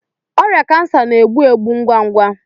ọrịa kansa bụ egbu egbu ngwa ngwa.